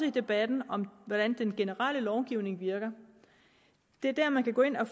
i debatten om hvordan den generelle lovgivning virker det er der man kan gå ind og